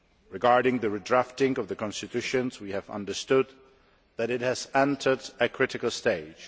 Regarding the redrafting of the constitution, we have understood that it has entered a critical stage.